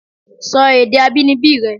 Sọ èdè abínibí rẹ!